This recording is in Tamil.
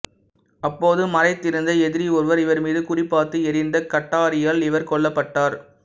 அப்போது மறைந்திருந்த எதிரி ஒருவர் இவர்மீது குறிபார்த்து எறிந்த கட்டாரியால் இவர் கொல்லப்பட்டார்